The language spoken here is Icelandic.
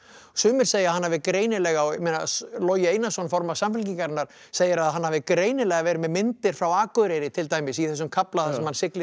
sumir segja að hann hafi greinilega ég meina Logi Einarsson formaður segir að hann hafi greinilega verið með myndir frá Akureyri til dæmis í þessum kafla þar sem hann siglir inn